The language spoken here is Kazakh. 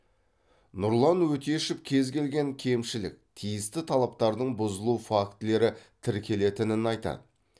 нұрлан өтешев кез келген кемшілік тиісті талаптардың бұзылу фактілері тіркелетінін айтады